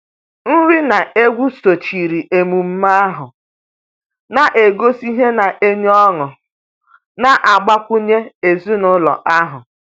Nri na egwu sochiri emume ahụ, na-egosi ihe na-enye ọṅụ na-agbakwunye ezinụlọ ahụ.